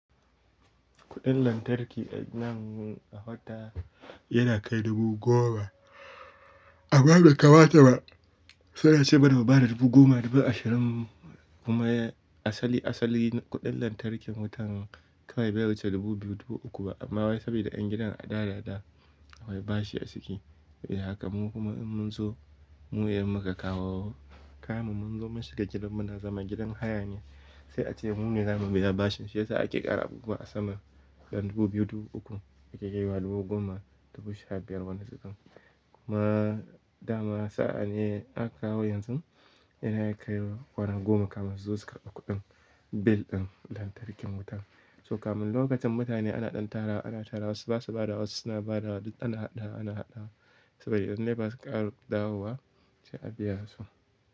Kuɗin lantarki a nan a wata yana kai dubu goma. Amma bai kamata ta ba sai ace mana mu bada dubu goma, dubu ashirin kuma asali asali kuɗin lantarkin wutan kai bai wuce dubu biyu, dubu uku ba. Amma wai saboda ƴan gidan a da da da wai bashi aciki. Yaya haka mu kuma in mun so mune muka kawo. Kayan mun zo munshiga gidan muna zama gidan hayane. Sai a ce mune zamu biya bashin. Shiyasa ake ƙara abubuwa a sama yan dubu biyu, dubu uku. Ya ke kaiwa dubu goma, dubu sha biyar wani zubin. Kuma Dama sa'a ne aka kawo yanzu yana iya kaiwa kwana goma kamin su zo su ƙarbi kuɗin bil ɗin lantarkin wuta. So kamin lokacin mutane ana ɗan tarawa, ana tara wasu basa badawa wasu suna badawa duk ana haɗawa ana haɗawa. Saboda idan NEPA suka ƙara dawowa sai a biya su.